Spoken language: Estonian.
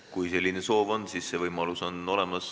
Kui see soov on, siis selline võimalus on olemas.